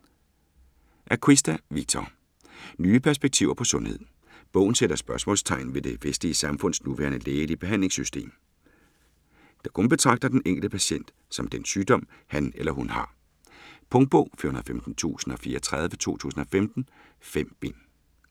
Acquista, Victor: Nye perspektiver på sundhed Bogen sætter spørgsmålstegn ved det vestlige samfunds nuværende lægelige behandlingssystem, der kun betragter den enkelte patient som den sygdom, han eller hun har. Punktbog 415034 2015. 5 bind.